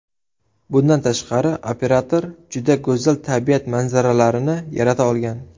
Bundan tashqari, operator juda go‘zal tabiat manzaralarini yarata olgan.